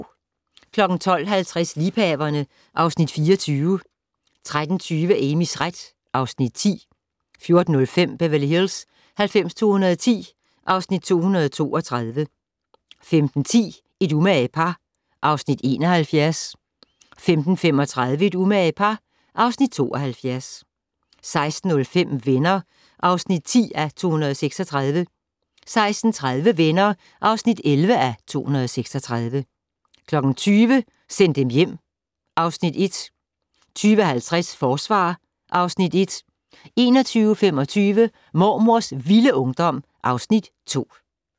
12:50: Liebhaverne (Afs. 24) 13:20: Amys ret (Afs. 10) 14:05: Beverly Hills 90210 (Afs. 232) 15:10: Et umage par (Afs. 71) 15:35: Et umage par (Afs. 72) 16:05: Venner (10:236) 16:30: Venner (11:236) 20:00: Send dem hjem (Afs. 1) 20:50: Forsvar (Afs. 1) 21:25: Mormors vilde ungdom (Afs. 2)